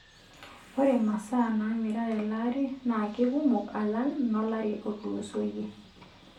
Ore masaa naamira tele ari naa keikumok alang' nolari otulusoyie.